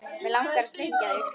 Mig langar að sleikja þig.